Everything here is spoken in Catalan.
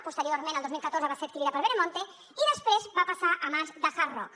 posteriorment el dos mil catorze va ser adquirida per veremonte i després va passar a mans de hard rock